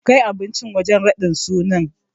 Kai abincin wajen raɗin sunan.